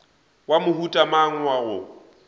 wa mohuta mang wa go